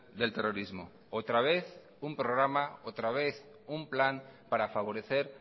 del terrorismo otra vez un programa otra vez un plan para favorecer